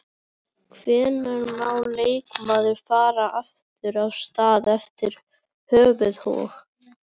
Hvenær má leikmaður fara aftur af stað eftir höfuðhögg?